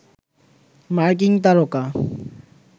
মার্কিন তারকা